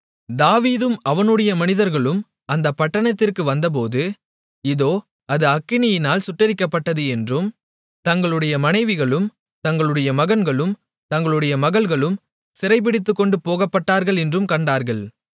தாவீதும் அவனுடைய மனிதர்களும் அந்தப் பட்டணத்திற்கு வந்தபோது இதோ அது அக்கினியினால் சுட்டெரிக்கப்பட்டது என்றும் தங்களுடைய மனைவிகளும் தங்களுடைய மகன்களும் தங்களுடைய மகள்களும் சிறைபிடித்துக்கொண்டுபோகப்பட்டார்கள் என்றும் கண்டார்கள்